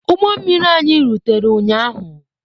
Ụgbọ mmiri anyị rutere ụnyaahụ.